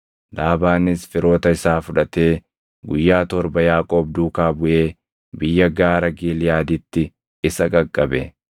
Laabaanis firoota isaa fudhatee guyyaa torba Yaaqoob duukaa buʼee biyya gaara Giliʼaaditti isa qaqqabe.